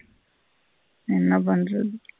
என்ன பன்றது.